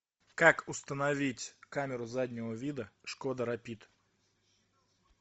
как установить камеру заднего вида шкода рапид